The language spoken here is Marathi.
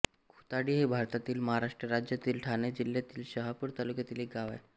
खुताडी हे भारतातील महाराष्ट्र राज्यातील ठाणे जिल्ह्यातील शहापूर तालुक्यातील एक गाव आहे